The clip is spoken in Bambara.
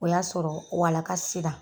O y'a sɔrɔ walaka se la.